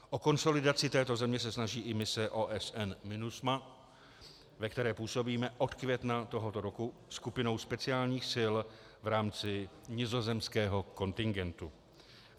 O konsolidaci této země se snaží i mise OSN MINUSMA, ve které působíme od května tohoto roku skupinou speciálních sil v rámci nizozemského kontingentu.